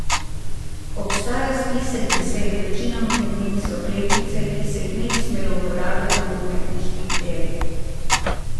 Obstaja spisek besed, večinoma med njimi so kletvice, ki se jih ne bi smelo uporabljati v umetniških delih.